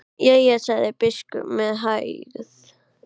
Jæja, sagði biskup með hægð.